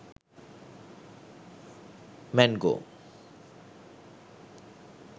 mango